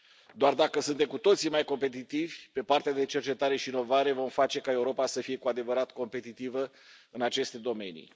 Doar dacă suntem cu toții mai competitivi pe partea de cercetare și inovare vom face ca Europa să fie cu adevărat competitivă în aceste domenii.